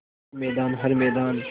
हर मैदान हर मैदान